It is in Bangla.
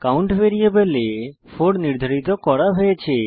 count ভ্যারিয়েবলে 4 নির্ধারিত করা হয়েছে